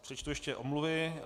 Přečtu ještě omluvy.